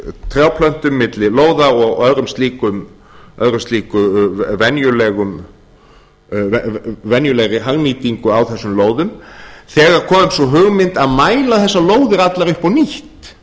trjáplöntum milli lóða og annarri slíkri venjulegri hagnýtingu á þessum lóðum þegar kom upp þessi hugmynd að mæla þessar lóðir allar upp á nýtt